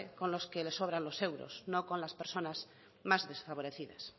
con los que les sobran los euros no con las personas más desfavorecidas